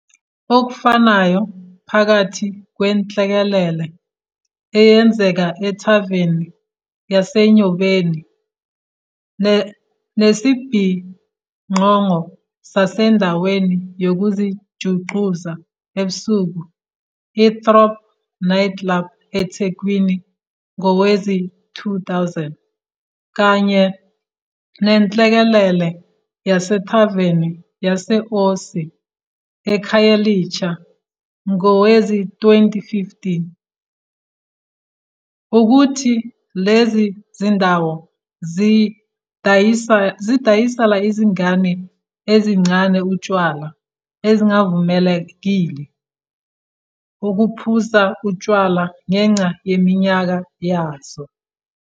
Okufanayo phakathi kwenhlekelele eyenzeke ethaveni yaseNyobeni, nesibhicongo sasendaweni yokuzijuxuza ebusuku i-Throb nightclub eThekwini ngowezi-2000, kanye nenhlekelele yasethaveni yase-Osi eKhayelitsha ngowezi-2015, wukuthi lezi zindawo zidayisela izingane ezisencane utshwala ezingavumelekile ukuphuza utshwala ngenxa yeminyaka yazo.